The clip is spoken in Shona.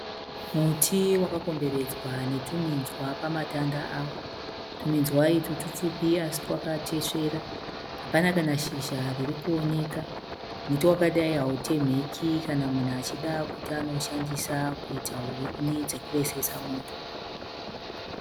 Muti wakakomberedzwa netwuminzwa pamatanda awo. Tuminzwa utwu tupfupi asi twakatesvera. Hapana kana shizha ririkuoneka. Muti wakadayi hautemheki kana munhu achida kuti anoushandisa kuita huni dzekuvesesa moto.